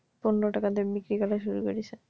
পনেরো টাকা দিয়ে বিক্রি করা শুরু করে দিছে